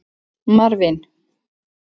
Marvin